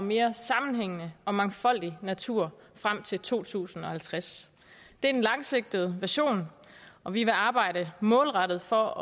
og mere sammenhængende og mangfoldig natur frem til to tusind og halvtreds det er den langsigtede vision og vi vil arbejde målrettet for